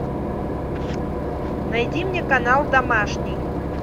найди мне канал домашний